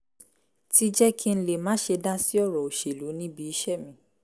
ti jẹ́ kí n lè má ṣe dá sí ọ̀rọ̀ òṣèlú níbi iṣẹ́ mi